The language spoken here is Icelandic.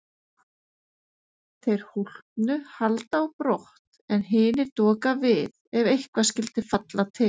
Þeir hólpnu halda á brott en hinir doka við ef eitthvað skyldi falla til.